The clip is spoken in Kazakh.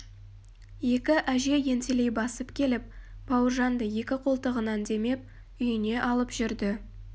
екі әже ентелей басып келіп бауыржанды екі қолтығынан демеп үйіне алып жүрді